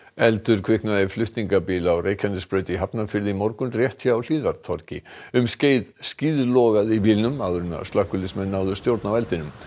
eldur kviknaði í flutningabíl á Reykjanesbraut í Hafnarfirði í morgun rétt hjá um skeið skeið skíðlogaði í bílnum áður en slökkviliðsmenn náðu stjórn á eldinum